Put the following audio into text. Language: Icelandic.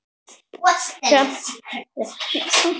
Og sprakk af hlátri.